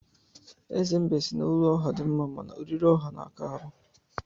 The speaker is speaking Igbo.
Eze mbe si na olu ọha dị mma, mana oriri ọha na-aka ahụ